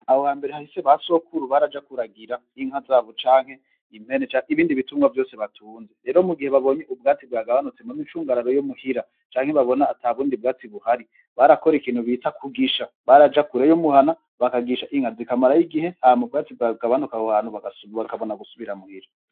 Aho hambere hahisi basokoru baraja kuragira inka zabo canke impene zabo canke ibindi bitungano vyabo vyose batunze rero mu gihe ubwatsi bwagabanutse mu micungararo yo muhira canke babona atabundi ubwatsi buhari barakora ikintu bita kugisha baraja kure y'umuhana bakagishiza inka zikamarayo igihe hama ubwatsi bwawe bugabanuka aho hantu ubwatsiabo bantu bakabona gusubira muhira.